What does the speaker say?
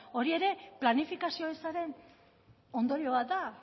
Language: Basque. hori ere planifikazio ezaren ondorio bat da